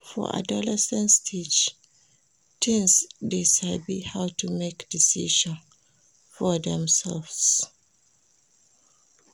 For adolescent stage teens de sabi how to make decision for themselve